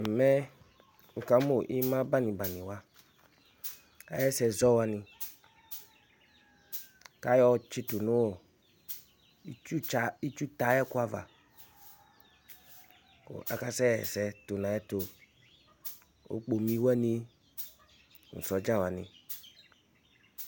Ɛmɛ, wʋƙamʋ ɩmabanɩbanɩwa aƴʋ ɛsɛ zɔwanɩƳǝdu nʋ itsutɛ aƴʋ ɛƙʋ ava, ƙʋ aƙasɛ ɣa ɛsɛ tʋ nʋ aƴʋ ɛtʋOƙpumi wanɩ nʋ sɔɖza wanɩ